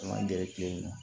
An man gɛrɛ tile in na